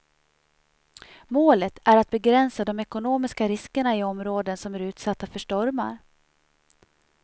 Målet är att begränsa de ekonomiska riskerna i områden som är utsatta för stormar.